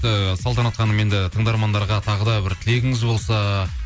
ыыы салтанат ханым енді тыңдармандарға тағы да бір тілегіңіз болса